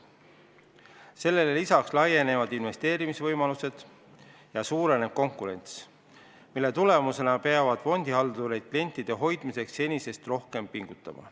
Sellele lisaks laienevad investeerimisvõimalused ja suureneb konkurents, mille tulemusena peavad fondihaldurid klientide hoidmiseks senisest rohkem pingutama.